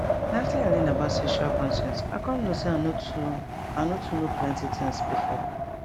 na after i learn about sexual consent i come know say i no too i no too know plenty things before